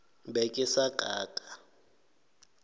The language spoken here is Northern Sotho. be ke sa ka ka